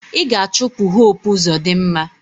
Ị ga-achụpụ Hope Uzodinma!